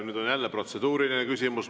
Nüüd on jälle protseduuriline küsimus.